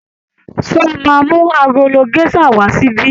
Ṣé ó máa mú agolo géṣà wà á síbí?